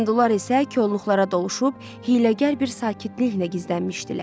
Hindular isə kolluqlara doluşub hiyləgər bir sakitliklə gizlənmişdilər.